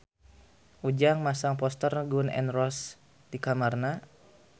Ujang masang poster Gun N Roses di kamarna